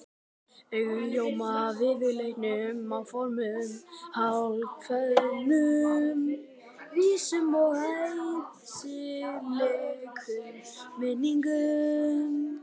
Augun ljóma af ófyrirleitnum áformum, hálfkveðnum vísum og æsilegum minningum.